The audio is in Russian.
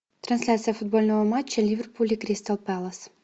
трансляция футбольного матча ливерпуль и кристал пэлас